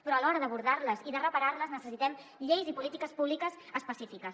però a l’hora d’abordar les i de reparar les necessitem lleis i polítiques públiques específiques